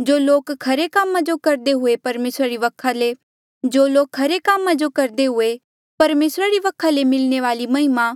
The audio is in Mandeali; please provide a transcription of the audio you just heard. जो लोक खरे कामा जो करदे हुए परमेसरा री वखा ले मिलणे वाली महिमा